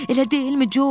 Elə deyilmi, Co?